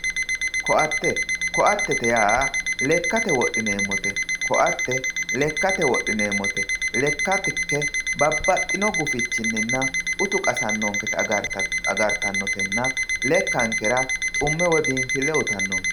koatte koatte yaa lekkate wodhineemmote koatte lekkate wodhineemmote lekkanke babbaxino gufichinna utu qasannonkekki gede agartanotenna lekkankera xumme woyi biinfille uyiitannoet.